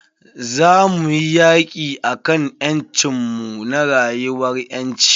Za muyi yaki akan ƴancin mu na rayuwan ƴanci.